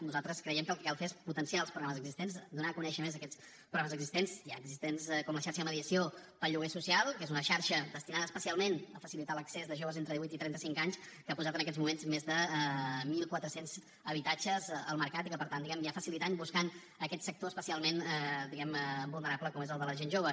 nosaltres creiem que el que cal fer és potenciar els programes existents donar a conèixer més aquests programes existents ja existents com la xarxa de mediació per al lloguer social que és una xarxa destinada especialment a facilitar l’accés de joves entre divuit i trenta cinc anys que ha posat en aquests moments més de mil quatre cents habitatges al mercat i que per tant diguem ne va facilitant buscant aquest sector especialment vulnerable com és el de la gent jove